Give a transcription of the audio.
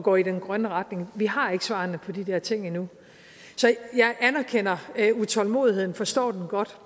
går i den grønne retning vi har ikke svarene på de der ting endnu så jeg anerkender utålmodigheden og forstår den godt